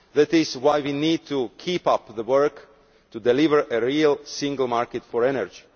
That is why we need to keep up the work to deliver a real single market for energy.